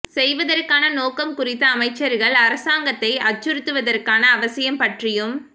செய்வதற்கான நோக்கம் குறித்த அமைச்சர்கள் அரசாங்கத்தை அச்சுறுத்துவதற்கான அவசியம் பற்றியும்